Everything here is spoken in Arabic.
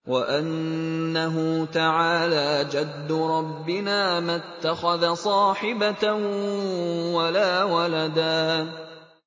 وَأَنَّهُ تَعَالَىٰ جَدُّ رَبِّنَا مَا اتَّخَذَ صَاحِبَةً وَلَا وَلَدًا